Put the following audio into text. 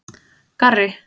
Garri